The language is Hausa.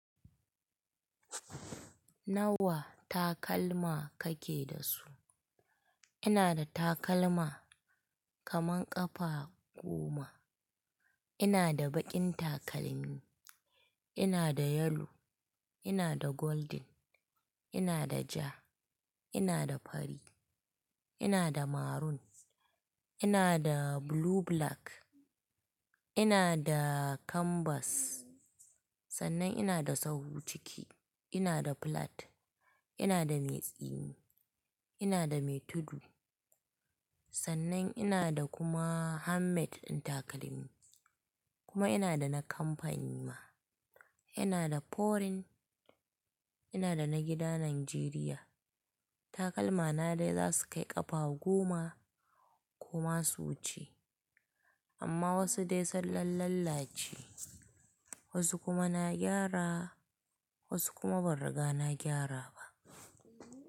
Nawa takalma kake da su? Ina da takalma kaman ƙafa goma. Ina da baƙin takalmi, ina da yellow, ina da golden, ina da ja, ina da fari, ina da maroon, ina da blue black, ina da canvas, Sannan ina da sau ciki, ina da flat, ina da mai tsini, ina da mai tudu. Sannan ina da kuma handmade ɗin takalmi, kuma ina da na kamfani ma, ina da foreign, ina da na gida Najeriya. Takalmana dai za su kai ƙafa goma, ko ma qsu wuce. Amma wasu dai sun lalla ce, wasu kuma na gyara, wasu kuma ban riga na gyara ba.